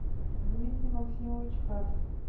дмитрий максимович кат